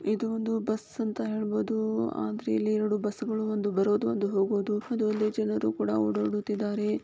ಇದು ಒಂದು ಬಸ್ ಅಂತ ಹೇಳ್ಬೋದು ಆದ್ರೆ ಇಲ್ಲಿ ಎರಡು ಬಸ್ಗಳು ಒಂದು ಬರೋದು ಒಂದು ಹೋಗೋದು ಇದು ಅಲ್ದೆ ಜನರು ಕೂಡ --